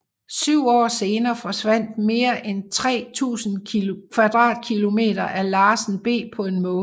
Syv år senere forsvandt mere end 3000 km2 af Larsen B på en måned